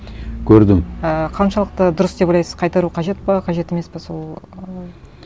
көрдім ііі қаншалықты дұрыс деп ойлайсыз қайтару қажет пе қажет емес пе сол ы